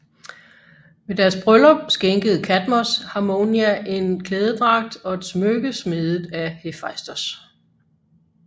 Ved deres bryllup skænkede Kadmos Harmonia en klædedragt og et smykke smedet af Hefaistos